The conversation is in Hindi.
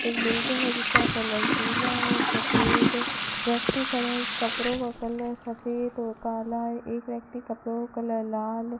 एक बिल्डिंग है जिसका कलर पीला और सफेद है व्यक्ति खड़े इस कपड़ों का कलर सफेद और काला एक व्यक्ति कपड़ों कलर लाल है।